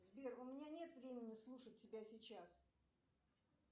сбер у меня нет времени слушать тебя сейчас